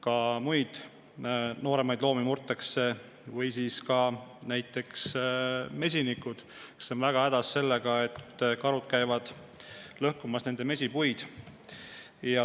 Ka muid nooremaid loomi murtakse ja mesinikud on väga hädas sellega, et karud käivad nende mesipuid lõhkumas.